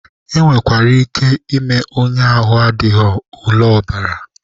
E nwekwara ike ime onye ahụ adịghị ule ọbara.